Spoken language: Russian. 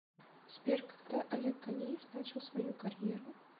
сбер когда олег ганеев начал свою карьеру